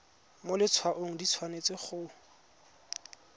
mo letshwaong di tshwanetse go